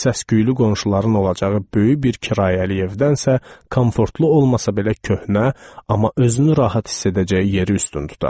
Səsküylü qonşuların olacağı böyük bir kirayə evdən isə komfortlu olmasa belə köhnə, amma özünü rahat hiss edəcəyi yeri üstün tuturdu.